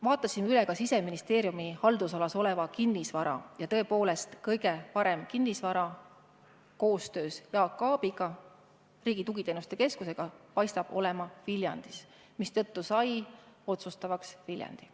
Vaatasin üle ka Siseministeeriumi haldusalas oleva kinnisvara ja tõepoolest, kõige parem kinnisvara – koostöös Jaak Aabiga, Riigi Tugiteenuste Keskusega – paistab olevat Viljandis, mistõttu sai otsustavaks Viljandi.